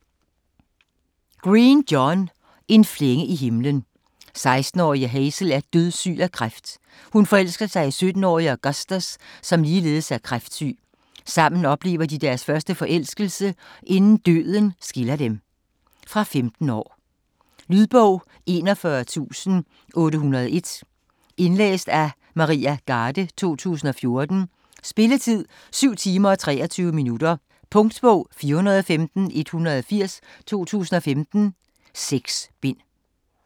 Green, John: En flænge i himlen 16-årige Hazel er dødssyg af kræft. Hun forelsker sig i 17-årige Augustus som ligeledes er kræftsyg. Sammen oplever de deres første forelskelse, inden døden skiller dem. Fra 15 år. Lydbog 41801 Indlæst af Maria Garde, 2014. Spilletid: 7 timer, 23 minutter. Punktbog 415180 2015. 6 bind.